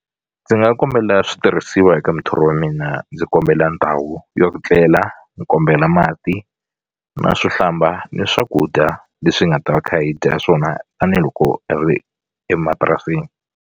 Ndzi nga kombela switirhisiwa eka muthori wa mina ndzi kombela ndhawu yo ku tlela ni kombela mati na swo hlamba ni swakudya leswi hi nga ta va kha hi dya swona tanihiloko hi ri emapurasini.